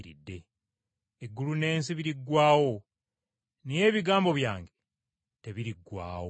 Eggulu n’ensi biriggwaawo naye ebigambo byange tebiriggwaawo.”